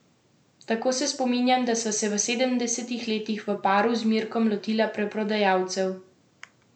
Tako se spominjam, da sva se v sedemdesetih letih v paru z Mirkom lotila preprodajalcev zelenjave.